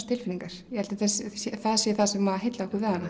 tilfinningar ég held að það sé það sem heillaði okkur við hana